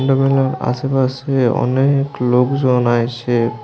আশেপাশে অনেক লোকজন আইসে।